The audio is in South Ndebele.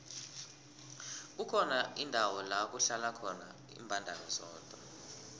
kukhona indawo lakuhlala khona imbandana zodwa